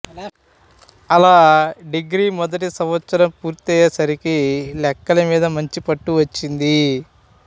అలా డిగ్రీ మొదటి సంవత్సరం పూర్తయ్యే సరికి లెక్కల మీద మంచి పట్టు వచ్చింది